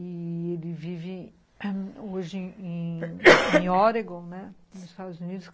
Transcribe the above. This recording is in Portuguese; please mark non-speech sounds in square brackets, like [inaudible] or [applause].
Ele vive hoje em Oregon, [coughs] nos Estados Unidos.